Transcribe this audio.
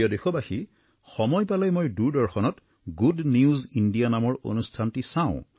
প্ৰিয় দেশবাসী সময় পালেই মই দূৰদৰ্শনত গুড নিউজ ইণ্ডিয়া নামৰ অনুষ্ঠানটি চাওঁ